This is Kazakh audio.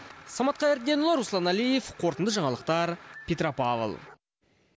самат қайырденұлы руслан әлиев қорытынды жаңалықтар петропавл